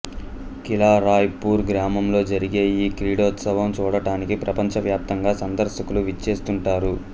కిలా Raipur గ్రామంలో జరిగే ఈ క్రీడోత్సవం చూడటానికి ప్రపంచవ్యాప్తంగా సందర్శకులు విచ్చేస్తుంటారు